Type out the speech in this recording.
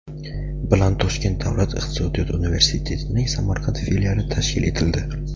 bilan Toshkent davlat iqtisodiyot universitetining Samarqand filiali tashkil etildi.